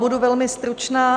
Budu velmi stručná.